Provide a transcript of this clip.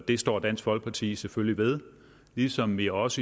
det står dansk folkeparti selvfølgelig ved ligesom vi også